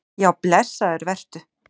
Já blessaður vertu.